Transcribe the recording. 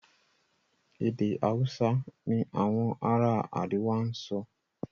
èdè Hausa ní Àwọn ará àríwá sọ.